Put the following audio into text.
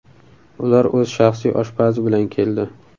Ular o‘z shaxsiy oshpazi bilan keldi.